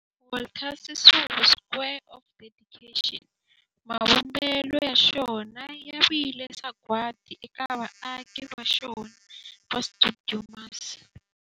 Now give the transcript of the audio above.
Walter Sisulu Square of Dedication, mavumbelo ya xona ya vile sagwadi eka vaaki va xona va stuidio MAS.